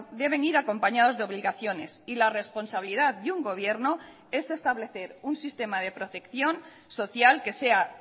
deben ir acompañados de obligaciones y la responsabilidad de un gobierno es establecer un sistema de protección social que sea